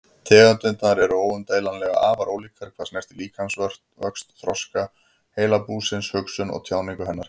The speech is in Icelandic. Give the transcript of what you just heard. Tegundirnar eru óumdeilanlega afar ólíkar hvað snertir líkamsvöxt, þroska heilabúsins, hugsun og tjáningu hennar.